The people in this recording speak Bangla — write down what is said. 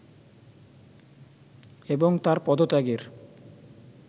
এবং তার পদত্যাগের